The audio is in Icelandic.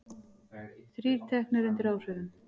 Þrír teknir undir áhrifum